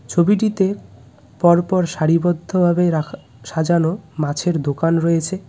ছবিটিতে পরপর সারিবদ্ধভাবে রাখা সাজানো মাছের দোকান রয়েছে.